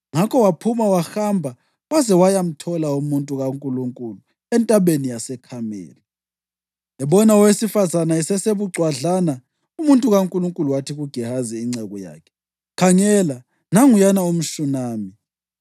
Ngakho waphuma wahamba waze wayamthola umuntu kaNkulunkulu eNtabeni yaseKhameli. Ebona owesifazane esesebucwadlana, umuntu kaNkulunkulu wathi kuGehazi inceku yakhe, “Khangela! Nanguyana umShunami!